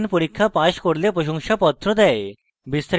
online পরীক্ষা pass করলে প্রশংসাপত্র দেয়